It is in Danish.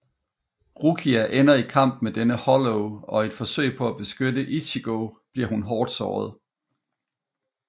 Rukia ender i kamp med denne Hollow og i et forsøg på at beskytte Ichigo bliver hun hårdt såret